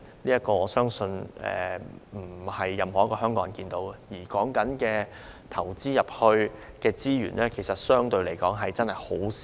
這種情況，我相信不是任何一個香港人想看到的，而為此投放的資源，相對來說亦只是很少。